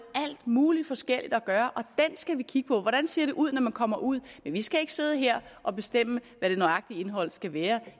alt muligt forskelligt at gøre og skal vi kigge på hvordan ser det ud når man kommer ud vi skal ikke sidde her og bestemme hvad det nøjagtige indhold skal være